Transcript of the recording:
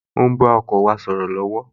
O ń bá ọkọ wa sọ̀rọ̀ lọ́wọ́